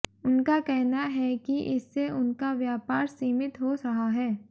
उनका कहना है कि इससे उनका व्यापार सीमित हो रहा है